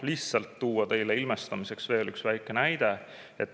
Lihtsalt toon teile ilmestamiseks veel ühe väikse näite.